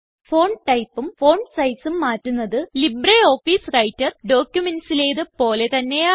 font typeഉം font sizeഉം മാറ്റുന്നത് ലിബ്രെ ഓഫീസ് വ്രൈട്ടർ documentsലേത് പോലെ തന്നെയാണ്